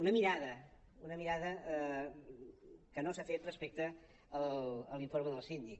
una mirada una mirada que no s’ha fet respecte a l’informe del síndic